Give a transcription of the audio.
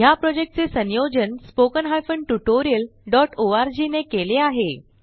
ह्या प्रॉजेक्टचे संयोजन httpspoken tutorialorg ने केले आहे